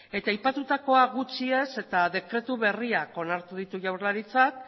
eta aipatutakoa gutxi ez eta dekretu berriak onartu ditu jaurlaritzak